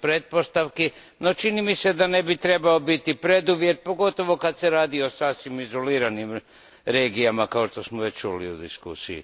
pretpostavki, no čini mi se da ne bi trebao biti preduvjet, pogotovo kada je riječ o sasvim izoliranim regijama, kao što smo već čuli u diskusiji.